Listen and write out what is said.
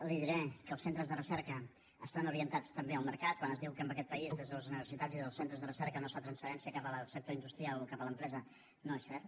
li diré que els centres de recerca estan orientats també al mercat quan es diu que en aquest país des de les universitats i des dels centres de recerca no es fa transferència cap al sector industrial o cap a l’empresa no és cert